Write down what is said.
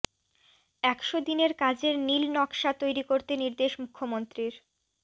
একশো দিনের কাজের নীল নকশা তৈরি করতে নির্দেশ মুখ্য়মন্ত্রীর